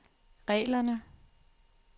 reglerne